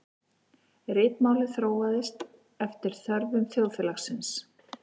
Ritmálið þróaðist eftir þörfum þjóðfélagsins.